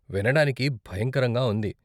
వినడానికి భయంకరంగా ఉంది.